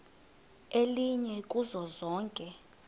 elinye kuzo zonke